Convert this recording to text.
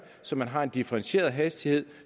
så man har en differentieret hastighed